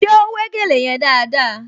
Ṣé ó wé gèlè yẹn dáadáa?